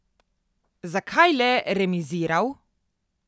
Zakaj le remiziral?